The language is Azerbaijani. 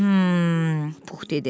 Hım, Pux dedi.